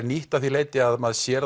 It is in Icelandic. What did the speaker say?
nýtt að því leyti að maður sér